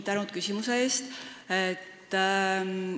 Tänu küsimuse eest!